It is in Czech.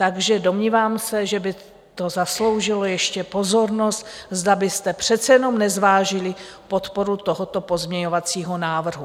Takže domnívám se, že by to zasloužilo ještě pozornost, zda byste přece jenom nezvážili podporu tohoto pozměňovacího návrhu.